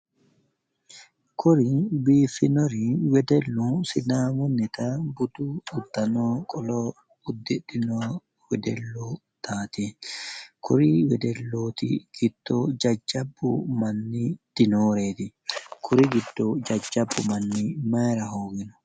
koye biifinori wedellu sidaamunnita budu uddano qolo uddidhino wedellootaati. kori wedellooti giddo jajjabbu manni dinooreeti, jajjabbu manni mayiira hoogino?